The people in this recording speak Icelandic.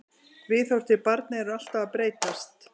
Viðhorf til barna eru alltaf að breytast.